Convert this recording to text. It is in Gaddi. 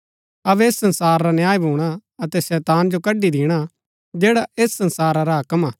अबै ऐस संसार रा न्याय भूणा अतै शैतान जो कड्ड़ी दिणा जैडा ऐस संसारा रा हाक्म हा